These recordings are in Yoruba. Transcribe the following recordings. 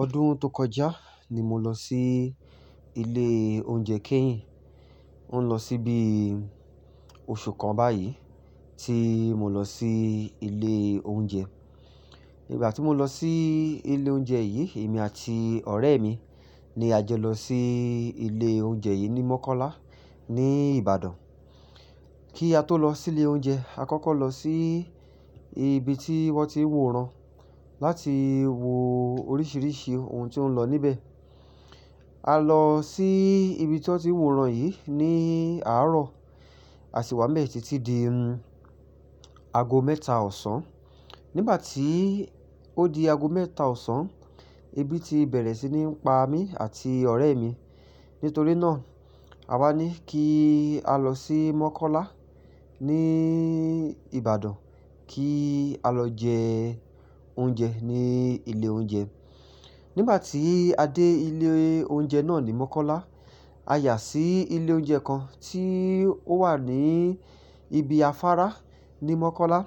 Ọdún tó kọjá ni mo lọ sí ilé oúnjẹ keyin. Ó ń lọ síbi oṣù kan báyìí tí mo lọ sí ilé oúnjẹ. Nígbà tí mo lọ sí ilé oúnjẹ yìí, èmi àti ọ̀rẹ́ mi ni a jo lọ sí ilé oúnjẹ yìí ní Mọ́kọ́lá ní Ìbàdàn. Kí a tó lọ sí ilé oúnjẹ, a kọ́kọ́ lọ sí ibi tí wón ti ń wòran láti wo oríṣiríṣi ohun tí ó ń lọ níbẹ̀. A lọ sí ibi tí wọ́n ti ń wòran yìí ní àárọ̀, a sì wá n bee títí di ago mẹ́ta ọ̀sán. Nígbà tí ó di ago mẹ́ta ọ̀sán, ebi ti bẹ̀rẹ̀ sí ní ń pa mí àti ọ̀rẹ́ mi. Nítorí náà, a wá ní kí a lọ sí Mọ́kọ́lá ní Ìbàdàn kí a lọ jẹ oúnjẹ ní ilé oúnjẹ. Nígbà tí a dé ilé oúnjẹ náà ní Mọ́kọ́lá, a yà sí ilé oúnjẹ kan tí ó wà ní ibi afárá ní Mọ́kọ́lá.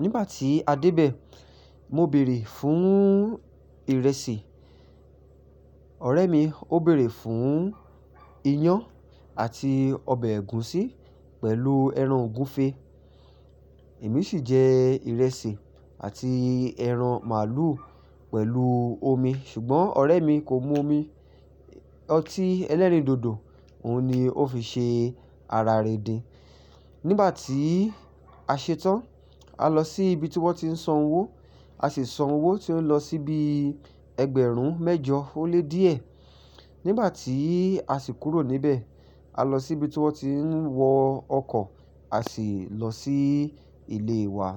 Nígbà tí a dé bẹ̀, mo bèrè fún ìrẹsì, ọ̀rẹ́ mi ó bèrè fún iyán àti ọbẹ̀ ẹ̀gúsí pẹ̀lú ẹran ògúnfe. Èmi sì jẹ ìrẹsì àti ẹran màlúù pẹ̀lú omi ṣùgbọ́n ọ̀rẹ́ mi kò mu omi, ọtí ẹlẹ́rìndòdò òun ni ó fi ṣe ara rindin. Nígbà tí a ṣetán, a lọ sí ibi tí wọ́n ti ń san owó, a sì san owó tí ó lọ síbi ẹgbẹ̀rún mẹ́jọ ó lé díẹ̀. Nígbà tí a sì kúrò níbẹ̀, a lọ sí ibi tí wọ́n ti ń wọ ọkọ̀, a sì lọ sí ilé wa.